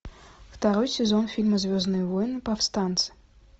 второй сезон фильма звездные войны повстанцы